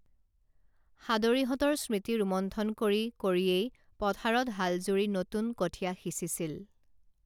সাদৰীহঁতৰ স্মৃতি ৰোমন্থন কৰি কৰিয়েই পথাৰত হালজুৰি নতুন কঠীয়া সিঁচিছিল